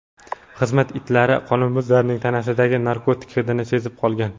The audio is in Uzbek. Xizmat itlari qonunbuzarning tanasidagi narkotik hidini sezib qolgan.